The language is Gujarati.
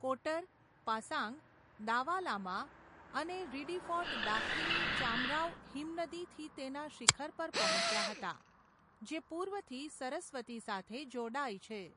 કોટર, પાસાંગ દાવા લામા અને રિડીફોર્ડ દાખીની ચામરાવ હિમનદીથી તેના શિખર પર પહોંચ્યા હતા જે પૂર્વથી સરસ્વતી સાથે જોડાય છે.